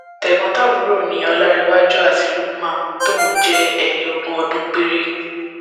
tẹgbọntàbúrò ni ọlàjúwọn àti lukumon tóun jẹ ẹni ogún ọdún péré